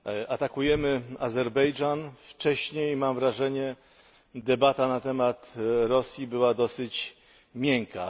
Atakujemy Azerbejdżan, a wcześniej, mam wrażenie, debata na temat Rosji była dosyć miękka.